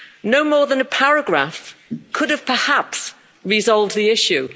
No more than a paragraph could have perhaps resolved the issue.